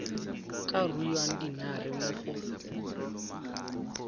ka ruang dinare mo go